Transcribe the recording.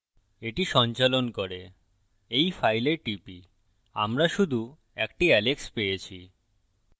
এটি সন্চালন করে by file টিপি আমরা শুধু একটি alex পেয়েছি